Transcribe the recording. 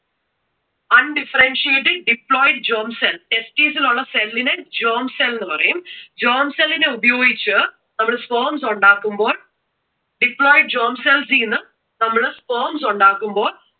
Undifferentiated diploid germ cell, testis ൽ ഉള്ള cell നെ germ cell എന്ന് പറയും. germ cell നെ ഉപയോഗിച്ച് നമ്മൾ sperms ഉണ്ടാക്കുമ്പോൾ diploid germ cells നിന്ന് നമ്മൾ sperms ഉണ്ടാക്കുമ്പോൾ